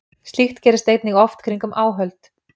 Slíkt gerist einnig oft kringum áhöld.